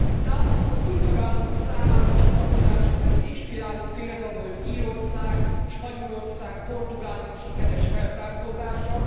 Számunkra, az új tagállamok számára a csatlakozás előtt inspiráló példa volt Írország, Spanyolország, Portugália sikeres felzárkózása.